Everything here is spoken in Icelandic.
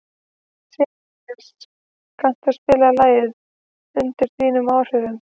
Sigurnýas, kanntu að spila lagið „Undir þínum áhrifum“?